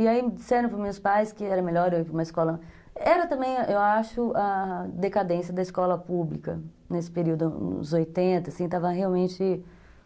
E aí disseram para os meus pais que era melhor eu ir para uma escola... Era também, eu acho, a decadência da escola pública nesse período, nos oitenta, assim, estava realmente